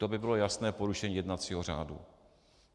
To by bylo jasné porušení jednacího řádu.